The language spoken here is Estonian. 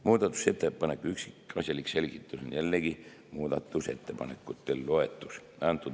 Muudatusettepaneku üksikasjalik selgitus on jällegi muudatusettepanekute loetelus.